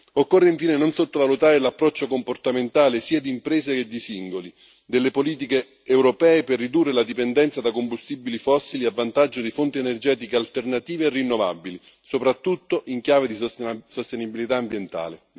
Occorre infine non sottovalutare l'approccio comportamentale sia di imprese che di singoli, delle politiche europee per ridurre la dipendenza da combustibili fossili a vantaggio di fonti energetiche alternative e rinnovabili, soprattutto in chiave di sostenibilità ambientale.